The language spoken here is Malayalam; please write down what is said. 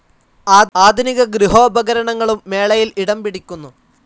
ആധുനിക ഗൃഹോപകരണങ്ങളും മേളയിൽ ഇടം പിടിക്കുന്നു.